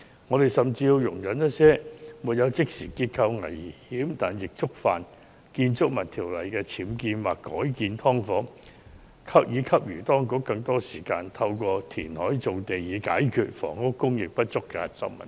我們甚至要容忍一些沒有即時結構危險，但亦觸犯《建築物條例》的僭建或改建"劏房"繼續存在，從而給予當局更多時間，透過填海造地以解決房屋供應不足的核心問題。